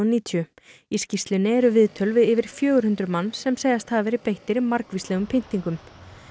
níutíu í skýrslunni eru viðtöl við yfir fjögur hundruð manns sem segjast hafa verið beittir margvíslegum pyntingum